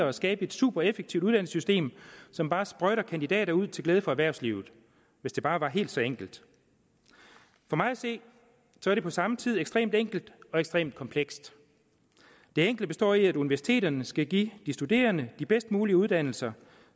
og skabe et supereffektivt uddannelsessystem som bare sprøjter kandidater ud til glæde for erhvervslivet hvis det bare var helt så enkelt for mig at se er det på samme tid ekstremt enkelt og ekstremt komplekst det enkle består i at universiteterne skal give de studerende de bedst mulige uddannelser